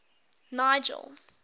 nigel